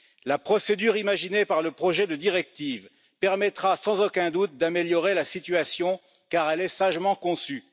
La procédure imaginée par le projet de directive permettra sans aucun doute d'améliorer la situation car elle est sagement conçue.